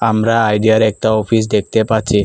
আমরা আইডিয়ার একটা অফিস দেখতে পাচ্ছি।